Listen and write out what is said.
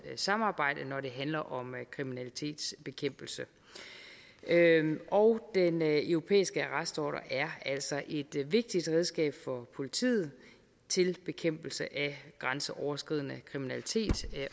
samarbejde når det handler om kriminalitetsbekæmpelse og den europæiske arrestordre er altså et vigtigt redskab for politiet til bekæmpelse af grænseoverskridende kriminalitet